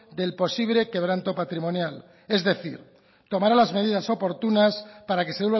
del posible quebranto patrimonial es decir tomará las medidas oportunas para que se